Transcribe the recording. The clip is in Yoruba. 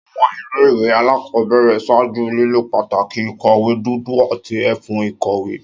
Áwọn ile-iwe alakọbẹrẹ ṣaaju lilo pátákó ìkọ̀wé dúdú ati efun ìkọ̀wé.